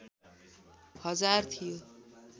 हजार थियो